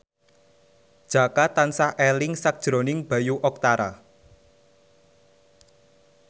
Jaka tansah eling sakjroning Bayu Octara